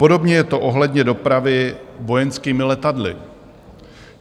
Podobně je to ohledně dopravy vojenskými letadly.